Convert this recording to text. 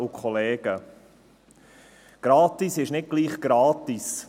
Gratis ist nicht gleich gratis.